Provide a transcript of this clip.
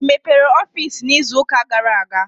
I mepere ọfiisi izu ụka gara aga?